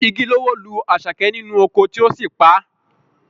Igi ló wó lu Àṣàkẹ́ nínú oko tí ó sì pa á